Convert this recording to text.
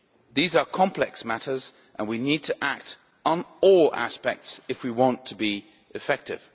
These are complex matters and we need to act on all aspects if we want to be effective.